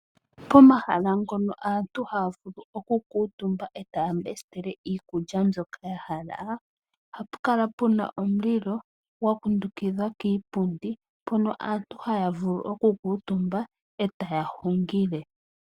Pomahala ngono aantu haya vulu okukuuntumba e taya mbesitele iikulya mbyoka yahala, ohapu kala puna omulilo gwa kundukidhwa kiipundi, mpono aantu haya vulu okukuuntumba, e taya hungile.